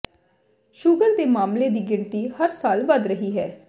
sugar ਦੇ ਮਾਮਲੇ ਦੀ ਗਿਣਤੀ ਹਰ ਸਾਲ ਵਧ ਰਹੀ ਹੈ